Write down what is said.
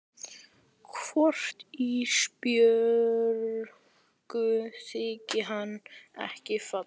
Hvort Ísbjörgu þyki hann ekki fallegur?